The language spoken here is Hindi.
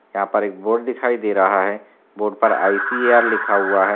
यहाँ पर एक बोर्ड दिखाई दे रहा है बोर्ड पर आई.सी.ऐ.आर. लिखा हुआ है।